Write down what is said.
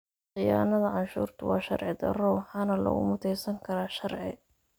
Khiyaanada canshuurtu waa sharci darro waxaana lagu muteysan karaa sharci.